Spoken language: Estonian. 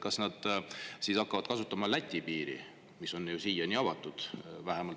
Kas nad siis hakkavad kasutama Läti piiri, mis on siiani avatud?